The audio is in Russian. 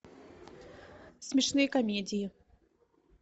смешные комедии